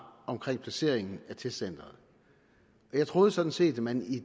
om placeringen af testcenteret jeg troede sådan set at man i